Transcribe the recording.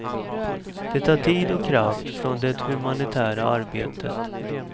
Det tar tid och kraft från det humanitära arbetet.